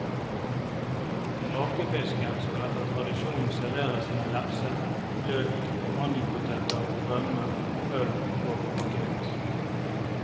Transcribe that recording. Rakefisken skal etter tradisjonen serveres med lefse, løk, mandelpoteter, rømme, øl og akevitt.